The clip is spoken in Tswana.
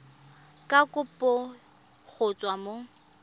ya kopo go tswa mo